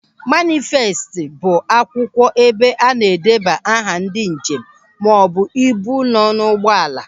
Manịfestị bụ akwụkwọ ebe a na-edeba aha ndị njem maọbụ ibu nọ n'ụgbọala.